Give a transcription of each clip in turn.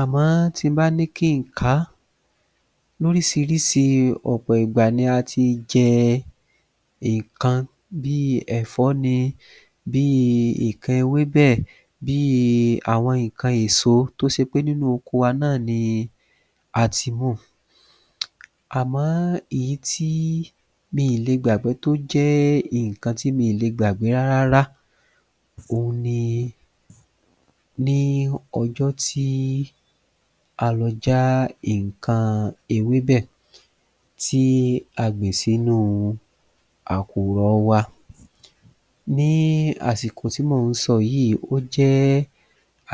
Àmọ́ tí n bá ní kí n kàá lóríṣiríṣi ọ̀pọ̀ ìgbà ni a ti jẹ nǹkan bíi ẹ̀fọ́ ni bíi nǹkan ewébẹ̀ bíi àwọn nǹkan èso tó ṣe pé nínú oko wa náà ni ati múu Àmọ́ èyí tí miì lè gbàgbẹ́ tó jẹ́ nǹkan tí miì lè gbàgbẹ́ rárárá òhun ni ní ọjọ́ tí a lọ já nǹkan ewébẹ̀ tí a gbìn sínúu àkùrọ wa Ní àsìkò tí mò ń sọ yìí ó jẹ́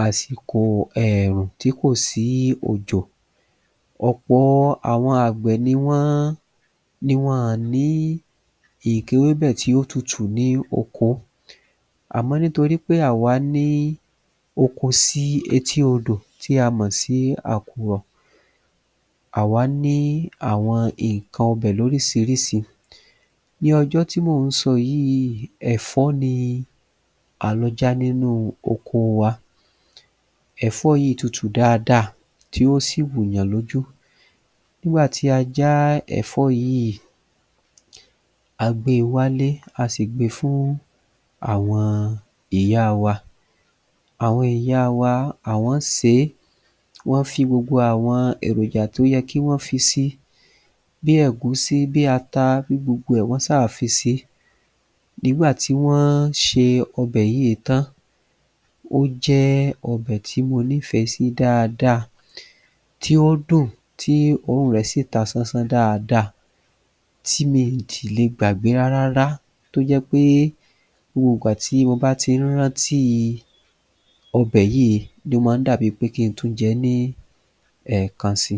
àsìkò èèrùn tí kò sí òjò ọ̀pọ àwọn àgbẹ̀ ni wọ́n ni wọn ọ̀ ní nǹkan ewébẹ̀ tí ò tutù ní oko àmọ́ nítorí pé àwá ní oko sí etí odò tí a mọ̀ sí àkùrọ̀ àwá ní àwọn nǹkan ọbẹ̀ lóríṣiríṣi Ní ọjọ́ tí mò ń sọ yìí ẹ̀fọ́ ni a lọ já nínúu oko wa ẹ̀fọ́ yìí tutù dáadáa tí ó sì wù yàn lójú Nígbà tí a já ẹ̀fọ́ yìí a gbé e wálé a sì gbe fún àwọn ìyáa wa àwọn ìyáa wa àwọ́n sè é wọ́n fi gbogbo àwọn èròjà tó yẹ kí wọ́n fi si bí ẹ̀gúsí bí ata bí gbogbo ẹ̀ wọ́n ṣá à fi sí Nígbà tí wọ́n ṣe ọbẹ̀ yíì tán ó jẹ́ ọbẹ̀ tí mo nífẹ̀ẹ́ sí dáadáa tí ó dùn tí òórùn rẹ̀ sì ta sánsán dáada tí mi ò si lè gbàgbé rárárá tó jẹ́ pé gbogbo ìgbà tí mo bá tín rántíi ọbẹ̀ yíì ni ó má dàbi pé kin tún jẹ ẹ́ ní ẹ̀ẹ̀kan si